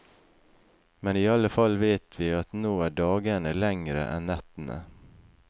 Men i alle fall vet vi at nå er dagene lengre enn nettene.